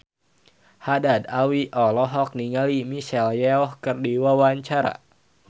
Haddad Alwi olohok ningali Michelle Yeoh keur diwawancara